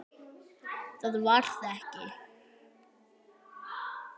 Það varð ekki.